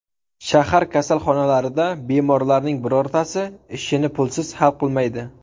Shahar kasalxonalarida bemorlarning birortasi ishini pulsiz hal qilmaydi.